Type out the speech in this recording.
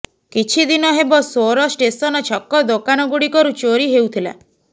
କିଛି ଦିନ ହେବ ସୋର ଷ୍ଟେସନ ଛକ ଦୋକାନ ଗୁଡ଼ିକରୁ ଚୋରି ହେଉଥିଲା